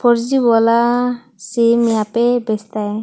Four G वाला SIM यहां पे बेचता है।